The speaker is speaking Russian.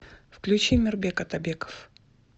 включи мирбек атабеков